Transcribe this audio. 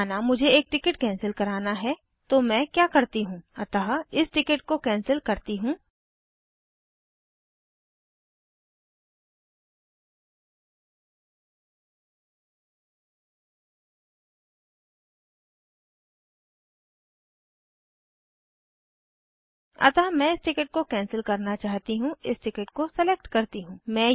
माना मुझे एक टिकट कैंसिल कराना है तो मैं क्या करती हूँ अतः इस टिकिट को कैंसिल करती हूँ अतः मैं इस टिकिट को कैंसिल करना चाहती हूँ इस टिकिट को सलेक्ट करती हूँ